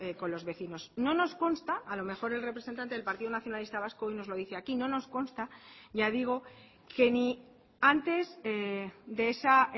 con los vecinos no nos consta a lo mejor el representante del partido nacionalista vasco hoy nos lo dice aquí no nos consta ya digo que ni antes de esa